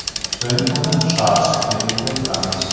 So‘ng uni shar shakliga keltiramiz.